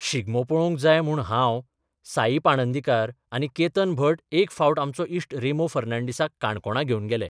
शिगमो पळोबंक जाय म्हूण हांव, साईश पाणंदीकार आनी केतन भट एक फावट आमचो इश्ट रॅमो फर्नाडीसाक काणकोणा घेवन गेले.